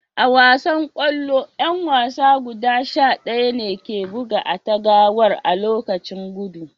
A wasan kwallo, yan wasa guda sha daya ne ke buga a'tagawar a'lokaci guda.